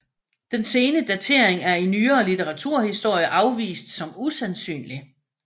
Den sene datering er i nyere litteraturhistorie afvist som usandsynlig